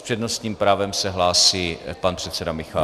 S přednostním právem se hlásí pan předseda Michálek.